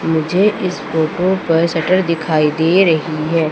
मुझे इस फोटो पर शटर दिखाई दे रही है।